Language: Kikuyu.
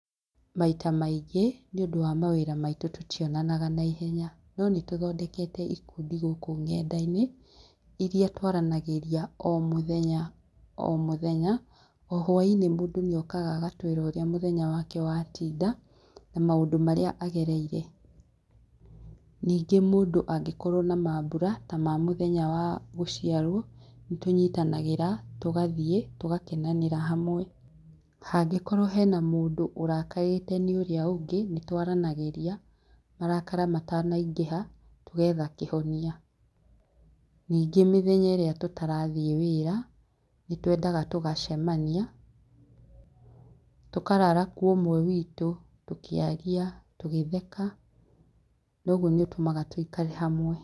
Maita maingĩ, nĩũndũ wa mawĩra maitũ tũtionanaga naiheya. No nĩ tũthondekete ikundi gũkũ nenda-inĩ, iria twaranagĩria o mũthenya o mũthenya. O hwaĩ-inĩ mundũ nĩokaga agatwĩra ũrĩa mũthenya wake wa tinda. Na maũndũ marĩa agereire. Ningĩ mũndũ angĩkorwo na maambura, ta ma mũthenya wa gũciarwo, nĩ tũnyitanagĩra, tũgathiĩ tũgakenanĩra hamwe. Angĩkorwo hena mũndũ ũrakarĩte nĩ ũrĩa ũngĩ, nĩ twaranagĩria, marakara matanaingĩha, tũgetha kĩhonia. Ningĩ mĩthenya ĩria tũtarathiĩ wĩra, nĩ twendaga tũgacemania, tũkarara kwa ũmwe witũ, tũkĩaria, tũgĩtheka. Na ũguo nĩ ũtumaga tũkorwo hamwe.